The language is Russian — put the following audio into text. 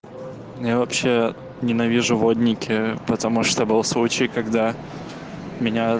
ну я вообще ненавижу водники потому что был случай когда меня